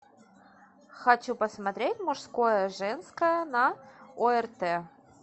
хочу посмотреть мужское женское на орт